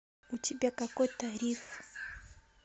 у тебя какой тариф